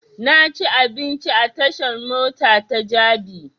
Na ci abinci a tashan mota ta jabi